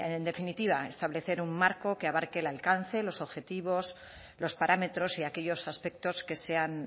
en definitiva establecer un marco que abarque el alcance los objetivos los parámetros y aquellos aspectos que sean